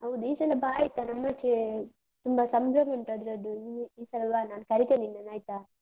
ಹೌದು ಈ ಸಲ ಬಾ ಆಯ್ತಾ ನಮ್ಮಾಚೆ ತುಂಬ ಸಂಭ್ರಮ ಉಂಟ್ ಅದ್ರದ್ದು. ನೀ ಈ ಸಲ ಬಾ ನಾನ್ ಕರಿತೇನೆ ನಿನ್ನನ್ ಆಯ್ತಾ?